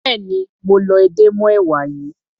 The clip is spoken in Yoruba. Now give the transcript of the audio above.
Béèni mo lọ edé mọ́ èwà yìí.